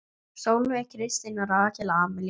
Sólveig Kristín og Rakel Amelía.